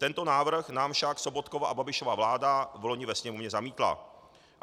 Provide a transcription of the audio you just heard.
Tento návrh nám však Sobotkova a Babišova vláda vloni ve Sněmovně zamítla.